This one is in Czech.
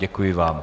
Děkuji vám.